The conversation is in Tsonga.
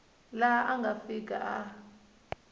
laha a nga fika a